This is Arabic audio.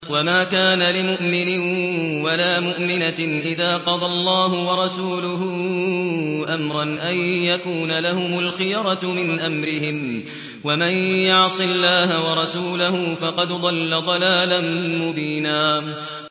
وَمَا كَانَ لِمُؤْمِنٍ وَلَا مُؤْمِنَةٍ إِذَا قَضَى اللَّهُ وَرَسُولُهُ أَمْرًا أَن يَكُونَ لَهُمُ الْخِيَرَةُ مِنْ أَمْرِهِمْ ۗ وَمَن يَعْصِ اللَّهَ وَرَسُولَهُ فَقَدْ ضَلَّ ضَلَالًا مُّبِينًا